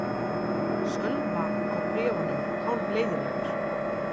Sölva á bréfunum hálfleiðinlegur.